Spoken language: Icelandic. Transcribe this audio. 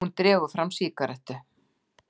Hún dregur fram sígarettu.